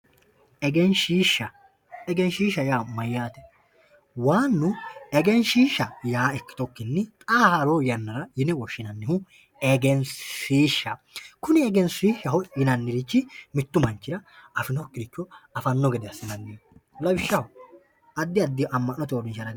egenshiishsha egenshiishsha yaa mayaate waannu egenshiishsha yaa ikkitukkinni xaa haroo yannara yine woshshinannihu egensiishshaho kuni egenshiishsha yinannirich mittu manchira afinokiricho afanno gede assanno lawishshaho addi addi amma'note uurinshara kaa'lanno.